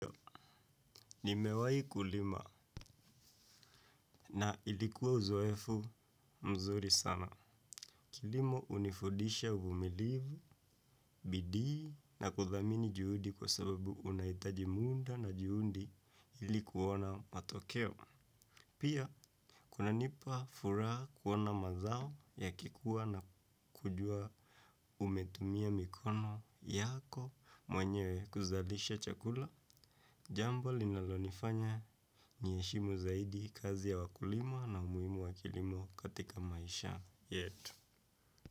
Nimewahi kulima na ilikuwa uzoefu mzuri sana. Kilimo hunifudisha uvumilivu, bidii na kuthamini juhudi kwa sababu unahitaji muda na juhudi ili kuona matokeo. Pia, kunanipa furaha kuona mazao yakikuwa na kujua umetumia mikono yako mwenyewe kuzalisha chakula. Jambo linalonifanya niheshimu zaidi kazi ya wakulima na umuhimu wa kilimo katika maisha yetu.